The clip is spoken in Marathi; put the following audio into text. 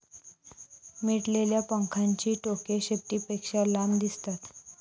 मिटलेल्या पंखांची टोके शेपटीपेक्षा लांब दिसतात.